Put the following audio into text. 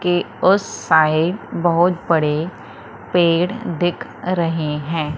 के उस साइड बहोत बड़े पेड़ दिख रहे हैं।